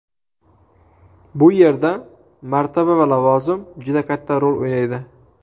Bu yerda martaba va lavozim juda katta rol o‘ynaydi.